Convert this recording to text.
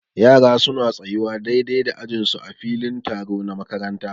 Yara su na tsayuwa daidai da ajin su a filin taro na makaranta.